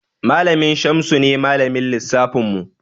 Malamin Shamsu ne Malamin lissafinmu.